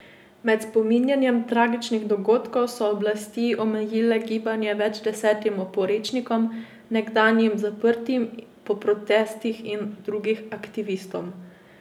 Med spominjanjem tragičnih dogodkov so oblasti omejile gibanje več desetim oporečnikom, nekdanjim zaprtim po protestih in drugim aktivistom.